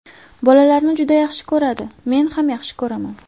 Bolalarni juda yaxshi ko‘radi, men ham yaxshi ko‘raman.